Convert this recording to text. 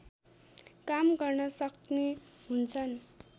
काम गर्न सक्ने हुन्छन्